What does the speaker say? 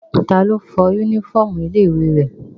Ta lo fọ yúnífọ̀mù ilé ìwé rẹ̀?